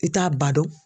I t'a ba don